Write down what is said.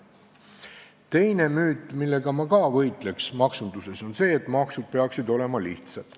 Teine müüt, millega ma ka võitleks maksunduses, on see, et maksud peaksid olema lihtsad.